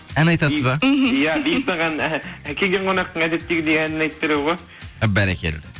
ән айтасыз ба мхм иә бейбіт ағаның келген қонақтың әдеттегідей әнін айтып беремін ғой бәрекелді